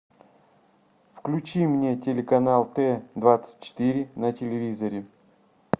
включи мне телеканал т двадцать четыре на телевизоре